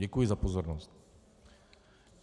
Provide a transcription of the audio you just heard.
Děkuji za pozornost.